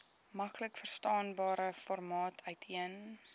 maklikverstaanbare formaat uiteen